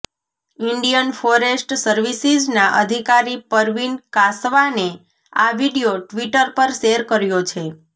Indian forest સર્વિસીઝના અધિકારી પરવીન કાસવાને આ વિડીયો ટ્વિટર પર શેર કર્યો છે